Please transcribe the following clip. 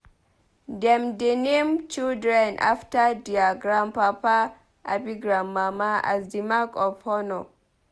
Dem dey name children after dier grandpapa abi grandmama as di mark of honour.